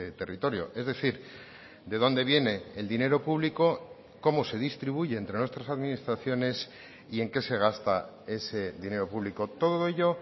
territorio es decir de dónde viene el dinero público cómo se distribuye entre nuestras administraciones y en qué se gasta ese dinero público todo ello